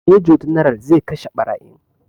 Major general zai kashe ɓarayin